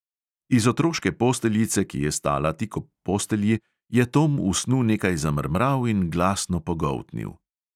Iz otroške posteljice, ki je stala tik ob postelji, je tom v snu nekaj zamrmral in glasno pogoltnil.